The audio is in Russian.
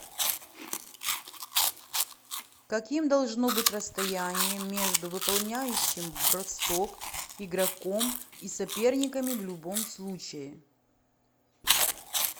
каким должно быть расстояние между выполняющим бросок игроком и соперниками в любом случае